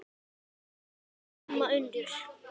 Vertu sæl, amma Unnur.